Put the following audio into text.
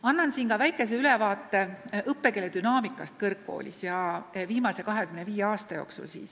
Annan siin ka väikese ülevaate õppekeele dünaamikast kõrgkoolides viimase 25 aasta jooksul.